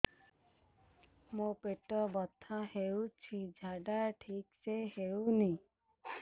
ମୋ ପେଟ ବଥା ହୋଉଛି ଝାଡା ଠିକ ସେ ହେଉନି